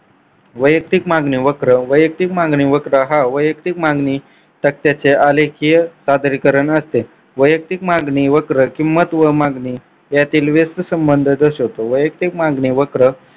वैयक्तिक मागणी वक्र वैयक्तिक मागणी वक्र हा वैयक्तिक मागणी सत्याचे आलेखीय सादरीकरण असते. वैयक्तिक मागणी वक्र किंमत व मागणी यातील व्यस्थ संबंध दर्शवतो. वैयक्तिक मागणी वक्र